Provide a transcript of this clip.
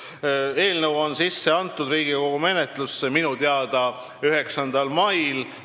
See eelnõu anti Riigikogu menetlusse minu teada 9. mail.